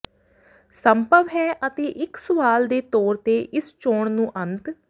ਸੰਭਵ ਹੈ ਅਤੇ ਇੱਕ ਸਵਾਲ ਦੇ ਤੌਰ ਤੇ ਇਸ ਚੋਣ ਨੂੰ ਅੰਤ